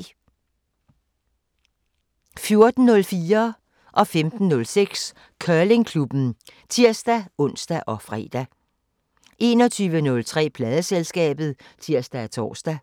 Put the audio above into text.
14:04: Curlingklubben (tir-ons og fre) 15:06: Curlingklubben (tir-ons og fre) 21:03: Pladeselskabet (tir og tor)